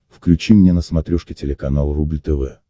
включи мне на смотрешке телеканал рубль тв